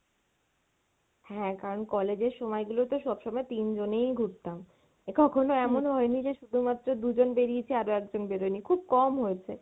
হ্যাঁ কারন college এর সময় গুলো তো সবসমই তিন জনেই ঘুরতাম, কখনো এমন হয়নি যে শুধু মাএ দুজন বেড়িয়েছি আরো একজন বেরোয়নি, খুব কম হয়েছে।